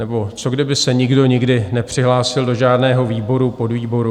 Nebo co kdyby se nikdo nikdy nepřihlásil do žádného výboru, podvýboru?